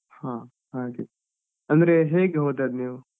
ಹಾ ಹಾಗೆ. ಅಂದ್ರೆ ಹೇಗೆ ಹೋದದ್ದು ನೀವು?